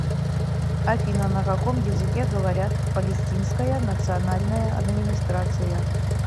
афина на каком языке говорят в палестинская национальная администрация